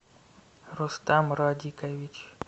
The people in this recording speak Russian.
рустам радикович